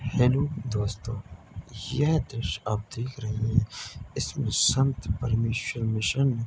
hello दोस्तों यह दृश्य आप देख रहे है इसमें संत परमेश्वर मिशन --